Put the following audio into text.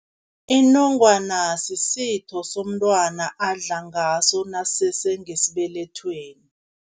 Inongwana sisitho somntwana adla ngaso nakasese ngesibelethweni.